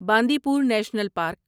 باندی پور national park